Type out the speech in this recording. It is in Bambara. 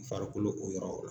Farikolo o yɔrɔ.